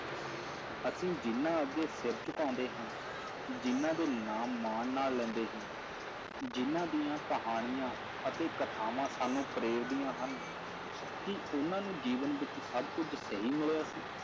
ਅਸੀਂ ਜਿਹਨਾਂ ਅੱਗੇ ਸਿਰ ਝੁਕਾਉਂਦੇ ਹਾਂ, ਜਿਹਨਾਂ ਦੇ ਨਾਮ ਮਾਣ ਨਾਲ ਲੈਂਦੇ ਹਾਂ, ਜਿਹਨਾਂ ਦੀਆਂ ਕਹਾਣੀਆਂ ਅਤੇ ਕਥਾਵਾਂ ਸਾਨੂੰ ਪ੍ਰੇਰਦੀਆਂ ਹਨ, ਕੀ ਉਹਨਾਂ ਨੂੰ ਜੀਵਨ ਵਿੱਚ ਸਭ ਕੁੱਝ ਸਹੀ ਮਿਲਿਆ ਸੀ?